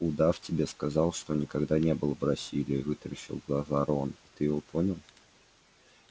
удав тебе сказал что никогда не был в бразилии вытаращил глаза рон ты его понял